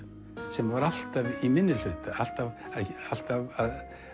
sem var alltaf í minnihluta alltaf alltaf